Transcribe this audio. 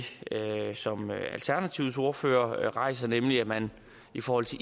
som alternativets ordfører rejser nemlig at man i forhold til